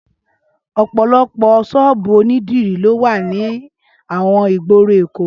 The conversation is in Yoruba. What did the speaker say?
Ọpọlọpọ ṣọ́ọ̀bù ónídirí ló wà ni awọn igbóró Ékó